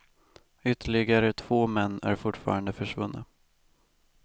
Ytterligare två män är fortfarande försvunna.